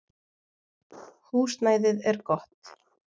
Húsnæðið er gott.